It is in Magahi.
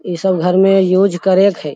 इ सब घर में यूज करें के हेय।